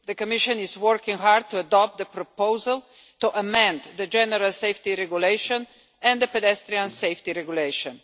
The Commission is working hard to adopt the proposal to amend the General Safety Regulation and the Pedestrian Safety Regulation.